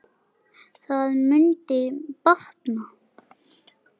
Það mundi batna.